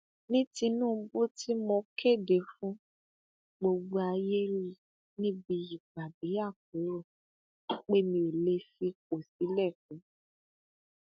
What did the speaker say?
ní tinúbù tí mo kéde fún gbogbo ayé rí níbi ìpàdé àpérò pé mi ò lè fipò sílẹ fún